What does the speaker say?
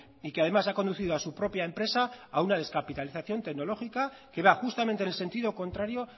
y que además ha conducido a su propia empresa a una descapitalización tecnológica que va justamente en el sentido contrario